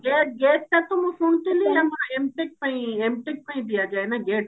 GATE GATE ଟା ତ ମୁଁ ଶୁଣୁଥିଲି M.TECH ପାଇଁ M.TECH ପାଇଁ ଦିଆ ଯାଏ ନା GATE